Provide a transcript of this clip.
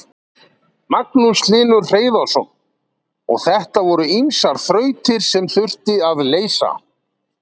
Magnús Hlynur Hreiðarsson: Og þetta voru ýmsar þrautir sem þurfti að leysa?